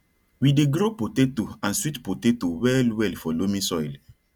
we dey grow potato and sweet potato well well for loamy soil